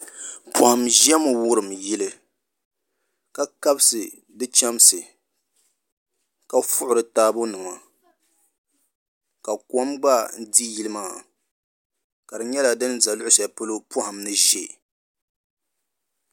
Poham ʒɛmi wurim yili ka kabisi di chɛmsi ka fui di taabo nima ka kom gba di yili maa ka di nyɛla din ʒɛ luɣu shɛli polo poham ni ʒɛ